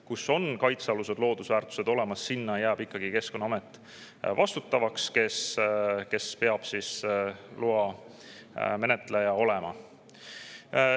Kus on kaitsealused loodusväärtused olemas, seal jääb vastutajaks ikkagi Keskkonnaamet, kes peab siis loa menetleja olema.